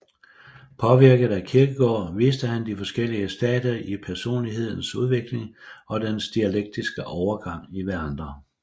Påvirket af Kierkegaard viste han de forskellige stadier i personlighedens udvikling og deres dialektiske overgang i hverandre